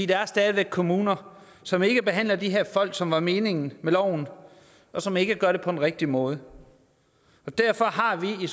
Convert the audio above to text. der er stadig væk kommuner som ikke behandler de her folk som det var meningen med loven og som ikke gør det på den rigtige måde derfor har vi i